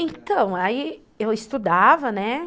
Então, aí eu estudava, né?